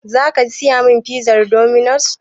Zaka saya min pizar dominos?